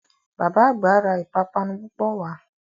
Bàbá àgbà ra ìpápánu púpọ̀ wá